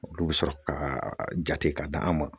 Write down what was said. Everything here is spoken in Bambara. Olu be sɔrɔ ka jate ka d'an ma.